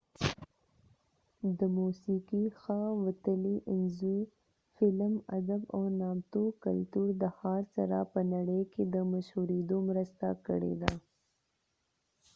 د موسیقی ښه وتلی انځور ،فلم، ادب او نامتو کلتور د ښار سره په نړی کې د مشهوریدو مرسته کړيده